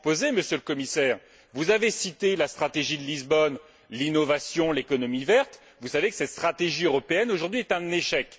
Monsieur le Commissaire, vous avez cité la stratégie de Lisbonne, l'innovation, l'économie verte, et vous savez que cette stratégie européenne est aujourd'hui un échec.